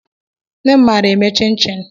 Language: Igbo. Nne m maara eme chin-chin